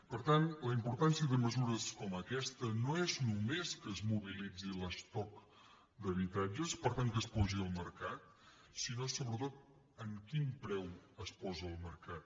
per tant la importància de mesures com aquesta no és només que es mobilitzi l’estoc d’habitatges per tant que es posi al mercat sinó sobretot amb quin preu es posa al mercat